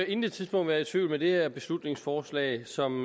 intet tidspunkt været i tvivl med det her beslutningsforslag som